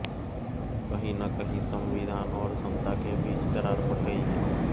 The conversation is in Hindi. कहीं न कहीं संविधान और जनता के बीच दरार पड़ गई है